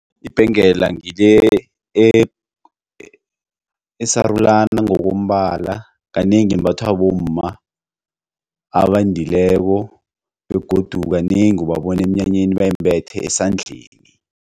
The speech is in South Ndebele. Ibhengela ngile esarulana ngokombala kanengi imbathwa bomma abendileko begodu kanengi ubabona emnyanyeni bayimbethe esandleni.